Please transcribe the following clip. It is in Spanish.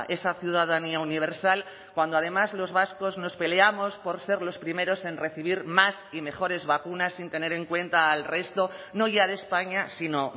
esa ciudadanía universal cuando además los vascos nos peleamos por ser los primeros en recibir más y mejores vacunas sin tener en cuenta al resto no ya de españa sino